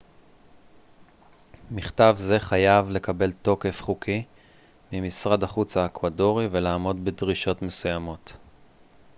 מכתב זה חייב לקבל תוקף חוקי ממשרד החוץ האקוודורי ולעמוד בדרישות מסוימות